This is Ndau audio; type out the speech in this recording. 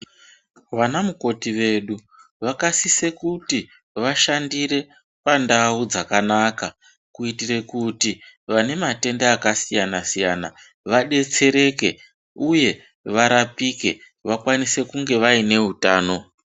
Vana mukoti vedu vaka sise kuti vashandire pa ndau dzakanaka kuiitire kuti vane matenda aka siyana siyana va detsereke uye va rapike vakwanise kunge vaine utano.